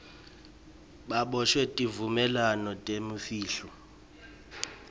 baboshwe tivumelwano tebumfihlo